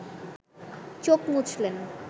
চোখ মুছলেন